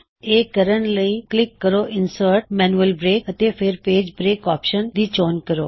ਇਹ ਕਰਨ ਲਈ ਕਲਿੱਕ ਕਰੋ ਇਨਸਰਟgtgtgtgtgt ਮੈਨਯੁਲ ਬ੍ਰੇਕ ਅਤੇ ਫੇਰ ਪੇਜ ਬ੍ਰੇਕ ਆਪਸ਼ਨ ਦੀ ਚੋਣ ਕਰੋ